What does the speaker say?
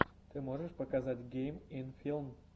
ты можешь показать гейм ин филм